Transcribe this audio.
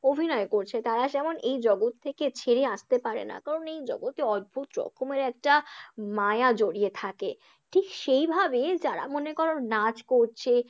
অভিনয় করছে, তারা যেমন এই জগৎ থেকে ছেড়ে আসতে পারে না কারণ এই জগতে অদ্ভুত রকমের একটা মায়া জড়িয়ে থাকে, ঠিক সেইভাবে যারা মনে করো নাচ করছে।